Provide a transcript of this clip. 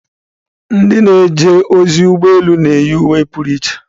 Ndị na-eje ozi ụgbọ elu na-eyi uwe pụrụ iche